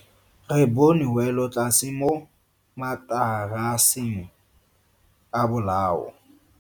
Re bone welotlase mo mataraseng a bolao.